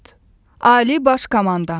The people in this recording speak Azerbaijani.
Ali Baş Komandandır.